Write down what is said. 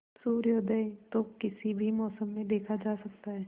सूर्योदय तो किसी भी मौसम में देखा जा सकता है